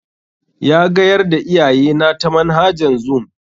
Ya gayar da iyayena ta manhajan zoom.